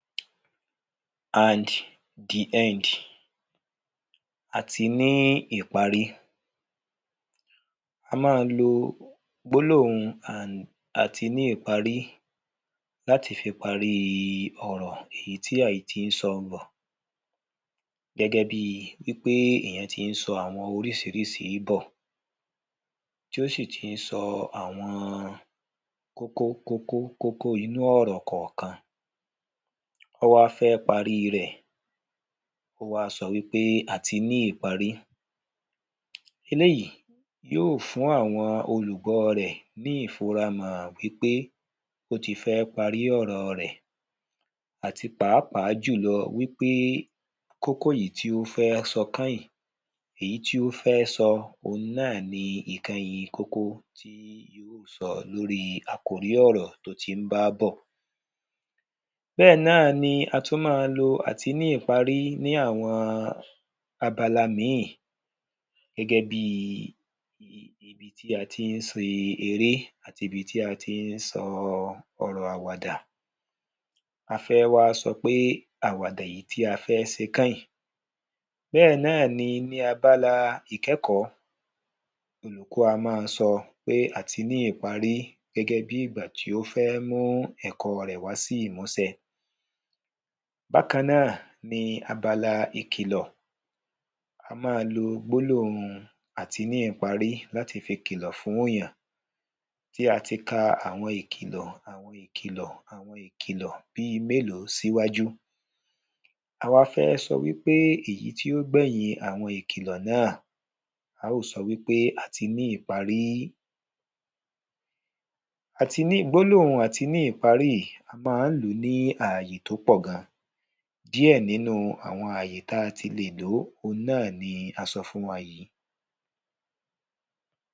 and the end, a ti ní ìparí a máa ń lo gbólóhùn and a ti ní ìparí láti fi parí ọ̀rọ̀ èyí tí a ti ń sọ bọ̀ gẹ́gẹ́ bíi wípé èyàn ti ń sọ àwọn oríṣiríṣi ń bọ̀, tí ó sì ti ń sọ àwọn kókó kókó kókó inú ọ̀rọ̀ kànkan ó wá fẹ́ paríi rẹ̀ ó wá sọ wípé a ti ní ìparí eléyìí yóò fún àwọn olùgbọ́ rẹ̀ ní ìfura mọ̀ wípé ó ti fẹ́ parí ọ̀rọ̀ rẹ̀ àti pàápàá jùlọ wípé kókó èyí tí ó fẹ́ sọ kẹ́yìn èyí tí ó fẹ́ sọ ohun náà ni ìkẹyìn kókó tí yóò sọ lórí àkòrí ọ̀rọ̀ tó ti ń bá bọ̀ bẹ́ẹ̀ náà ni a tún má lo àti ní ìparí ní àwọn abala míì gẹ́gẹ́ bíi ibi tí a ti ń ṣe eré àti ibi tí a ti ń sọ ọ̀rọ̀ àwàdà a fẹ́ wá sọpé àwàdà èyí tí a fẹ́ sọ kọ́yìn bẹ́ẹ̀ náà ni ní abala ìkẹ́kọ̀ọ́, olùkọ́ á máa sọ pé a ti ní ìparí gẹ́gẹ́ bí ìgbà tí ó fẹ́ mú ẹ̀kọ́ rẹ̀ wá sí ìmúsẹ bákan náà ni abala ìkìlọ̀, a máa lo gbólóhùn àti ní ìparí láti fi kìlọ̀ fún yàn tí a ti ka àwọn ìkìlọ̀ àwọn ìkìlọ̀ àwọn ìkìlọ̀ bíi mélòó síwájú awá fẹ́ sọ wípé èyí tí ó gbẹ̀yìn àwọn ìkìlọ̀ náà, a ó sọ wípé a ti ní ìparí àti ní gbólóhùn ati ní ìparí yìí a máa ń lòó ní àwọn àyè tó pọ̀ gan díẹ̀ nínú àwọn àyè tí a ti lè lòó òhun náà ni a sọ fún wa yìí.